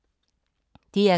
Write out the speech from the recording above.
DR K